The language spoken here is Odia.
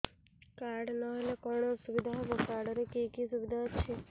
କାର୍ଡ ନହେଲେ କଣ ଅସୁବିଧା ହେବ କାର୍ଡ ରେ କି କି ସୁବିଧା ଅଛି